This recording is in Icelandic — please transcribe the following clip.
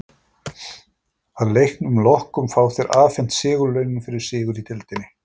Að leiknum loknum fá þeir afhent sigurlaunin fyrir sigur í deildinni.